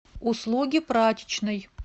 услуги прачечной